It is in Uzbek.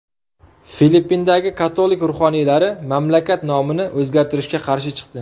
Filippindagi katolik ruhoniylari mamlakat nomini o‘zgartirishga qarshi chiqdi.